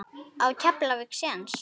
Á Keflavík séns?